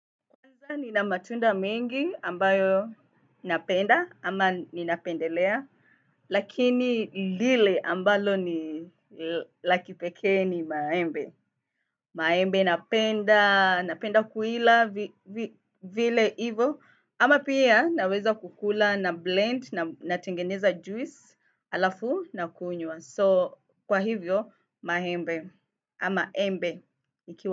Aah nina matunda mengi ambayo napenda ama ninapendelea, lakini lile ambalo ni lakipeke ni maembe. Maembe napenda, napenda kuila vile ivo, ama pia naweza kukula na blend na tengeneza juice halafu na kunyua. So kwa hivyo maembe ama embe.